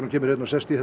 sest í